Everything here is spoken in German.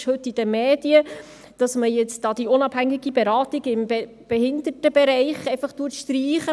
Es ist heute in den Medien, dass man die unabhängige Beratung im Behindertenbereich einfach streicht.